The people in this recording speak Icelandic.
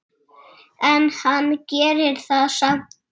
En hann gerir það samt.